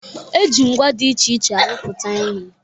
E ji ngwa dị iche iche arụpụta ihe.